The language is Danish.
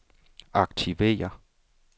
aktiver